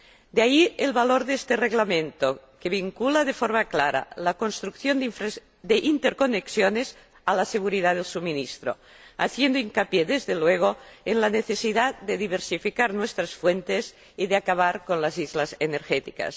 De ahí el valor de este Reglamento, que vincula de forma clara la construcción de interconexiones a la seguridad del suministro, haciendo hincapié desde luego en la necesidad de diversificar nuestras fuentes y de acabar con las islas energéticas.